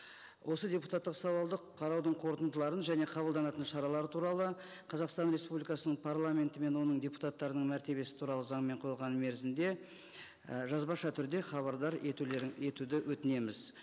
осы депутаттық сауалды қараудың қорытындыларын және қабылданатын шаралары туралы қазақстан республикасының парламенті мен оның депутаттарының мәртебесі туралы заңмен қойылған мерзімде і жазбаша түрде хабардар етуді өтінеміз